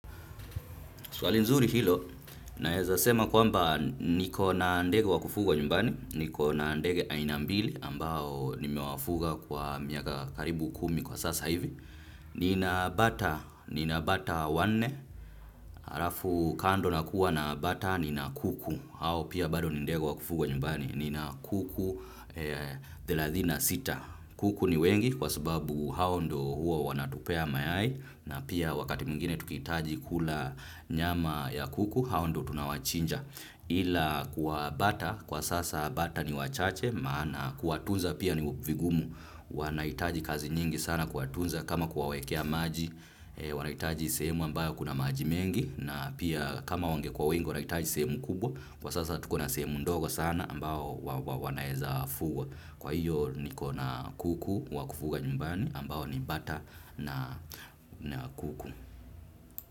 Swali nzuri hilo, naeza sema kwamba niko na ndege wa kufuga nyumbani, niko na ndege aina mbili ambao nime wafuga kwa miaka karibu kumi kwa sasa hivi. Nina bata, nina bata wanne, harafu kando nakuwa na bata, nina kuku, hao pia bado ni ndege wa kufuga nyumbani, nina kuku thelathini na sita. sita. Kuku ni wengi kwa sababu hao ndo huo wanatupea mayai na pia wakati mwingine tukihitaji kula nyama ya kuku hao ndo tunawachinja ila kwa bata kwa sasa bata ni wachache maana ku watunza pia ni vingumu wanahitaji kazi nyingi sana ku watunza kama ku wawekea maji wanahitaji semu ambayo kuna maji mengi na pia kama wangekuwa wengi wanahitaji semu kubwa kwa sasa tuko na semu ndogo sana ambayo wanaeza fugwa. Kwa hiyo nikona kuku wakufuga nyumbani ambao ni mbata na kuku.